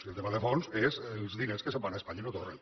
i el tema de fons és els diners que se’n van a espanya i no tornen